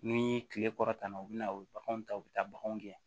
Ni kile kɔrɔtanna u bɛ na u bɛ baganw ta u bɛ taa baganw kɛ